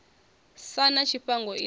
sa na tshifhango i ḓo